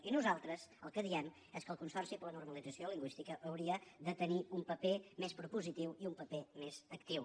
i nosaltres el que diem és que el consorci per a la normalització lingüística hauria de tenir un paper més propositiu i un paper més actiu